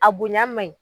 A bonya ma ɲi